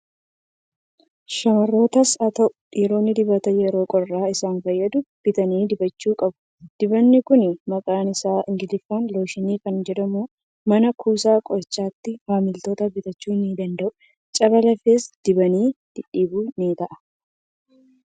Shamarrootas haa ta'u, dhiironni dibata yeroo qorraaf isaan fayyadu bitanii dibachuu qabu. Dibatni kun maqaan isaa Ingiliffaan looshinii kan jedhamudha. Mana kuusaa qorichaatii maamiltoonni bitachuu ni danda'u. Caba lafees dibanii dhidhiibuuf ni ta'a.